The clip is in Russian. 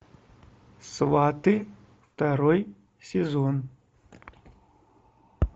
сваты второй сезон